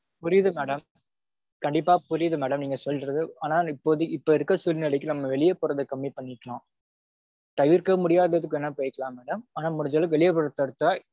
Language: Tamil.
புரியுது madam கண்டிப்பா புரியுது madam நீங்க சொல்றது. ஆனா இப்போதைக்கு இப்போ இருக்க சூழ்நிலைக்கு நம்ம வெளிய போறத கம்மி பண்ணிக்கலாம். தவிர்க்க முடியாத்துக்கு வேணுனா போய்க்கலாம் madam. ஆனா முடிஞ்ச அளவுக்கு வெளிய போறது தவிர்த்தா